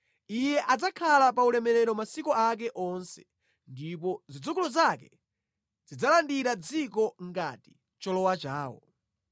Iye adzakhala pa ulemerero masiku ake onse, ndipo zidzukulu zake zidzalandira dziko ngati cholowa chawo.